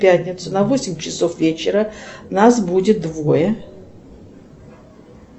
в пятницу на восемь часов вечера нас будет двое